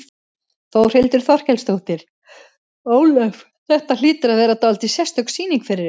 Þórhildur Þorkelsdóttir: Ólöf, þetta hlýtur að vera dálítið sérstök sýning fyrir ykkur?